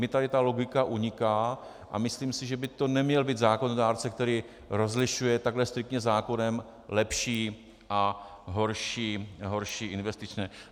Mně tady ta logika uniká a myslím si, že by to neměl být zákonodárce, který rozlišuje takhle striktně zákonem lepší a horší investice.